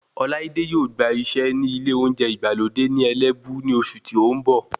Ọláídé yóò gbà iṣẹ́ ní ilé oúnjẹ ìgbàlódé ní Ẹlẹ́bú ní oṣù tí o n bọ̀